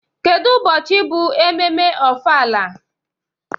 Kedu ụbọchị bụ ememme ofala?